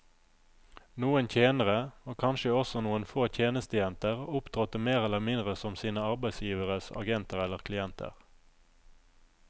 Noen tjenere, og kanskje også noen få tjenestejenter, opptrådte mer eller mindre som sine arbeidsgiveres agenter eller klienter.